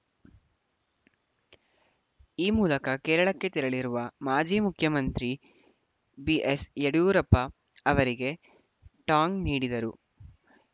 ಈ ಮೂಲಕ ಕೇರಳಕ್ಕೆ ತೆರಳಿರುವ ಮಾಜಿ ಮುಖ್ಯಮಂತ್ರಿ ಬಿಎಸ್‌ಯಡಿಯೂರಪ್ಪ ಅವರಿಗೆ ಟಾಂಗ್‌ ನೀಡಿದರು